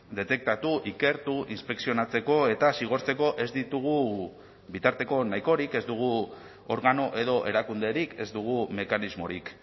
detektatu ikertu inspekzionatzeko eta zigortzeko ez ditugu bitarteko nahikorik ez dugu organo edo erakunderik ez dugu mekanismorik